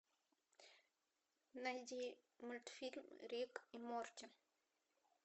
найди мультфильм рик и морти